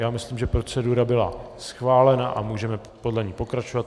Já myslím, že procedura byla schválena a můžeme podle ní pokračovat.